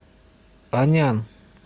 анян